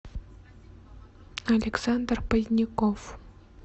александр поздняков